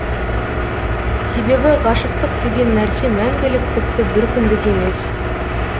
себебі ғашықтық деген нәрсе мәңгілік тіпті бір күндік емес